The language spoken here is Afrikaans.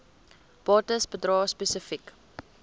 bates bedrae spesifiek